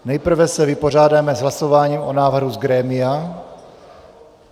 Nejprve se vypořádáme s hlasováním o návrhu z grémia.